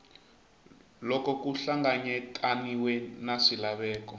loko ku hlanganyetaniwe na swilaveko